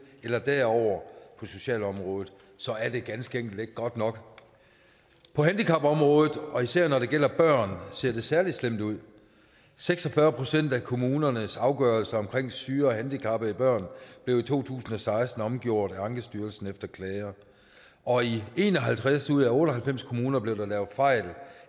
eller derover på socialområdet så er det ganske enkelt ikke godt nok på handicapområdet og især når det gælder børn ser det særlig slemt ud seks og fyrre procent af kommunernes afgørelser om syge og handicappede børn blev i to tusind og seksten omgjort af ankestyrelsen efter klager og i en og halvtreds ud af otte og halvfems kommuner blev der lavet fejl